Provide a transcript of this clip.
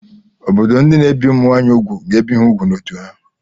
Obodo ndị na-ebi ụmụ nwaanyị úgwù ga-ebi ha ùgwù n'ọ́tụ̀ ha.